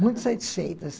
Muito satisfeitas.